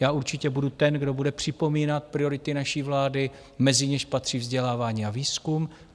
Já určitě budu ten, kdo bude připomínat priority naší vlády, mezi něž patří vzdělávání a výzkum.